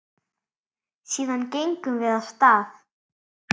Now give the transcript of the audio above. Síðan gengum við af stað.